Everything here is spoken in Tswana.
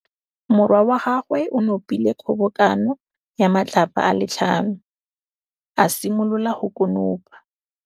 Morwa wa gagwe o nopile kgobokanô ya matlapa a le tlhano, a simolola go konopa.